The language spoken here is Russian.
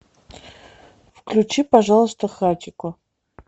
включи пожалуйста хатико